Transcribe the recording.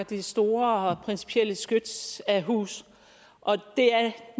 det store principielle skyts af hus og det er